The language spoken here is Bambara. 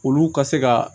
Olu ka se ka